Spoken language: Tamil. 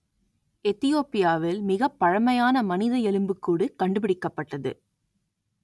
எத்தியோப்பியாவில் மிகப் பழமையான மனித எலும்புக்கூடு கண்டுபிடிக்கப்பட்டது